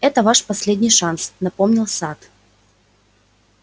это ваш последний шанс напомнил сатт